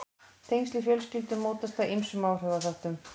tengsl í fjölskyldum mótast af ýmsum áhrifaþáttum